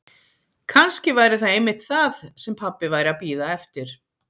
Kannski væri það einmitt það sem pabbi væri að bíða eftir.